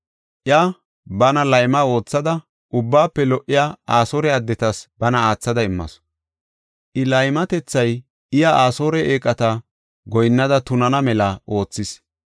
Iya bana layma oothada, ubbaafe lo77iya Asoore addetas bana aathada immasu. I laymatethay iya Asoore eeqata goyinnada tunana mela oothis.